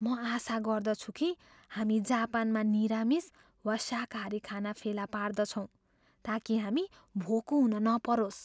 म आशा गर्दछु कि हामी जापानमा निरामिस वा शाकाहारी खाना फेला पार्दछौँ ताकि हामी भोको हुन नपरोस्।